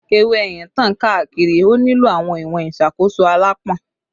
Ewe eyin tan kaakiri, o nilo awọn iwọn iṣakoso alãpọn